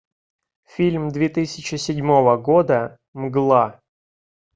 фильм две тысячи седьмого года мгла